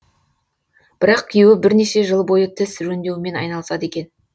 бірақ күйеуі бірнеше жыл бойы тіс жөндеумен айналысады екен